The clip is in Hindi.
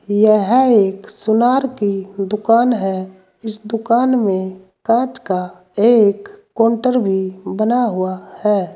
यह एक सुनार की दुकान है इस दुकान में कांच का एक काउंटर भी बना हुआ है।